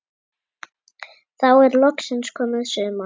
Þá er loksins komið sumar.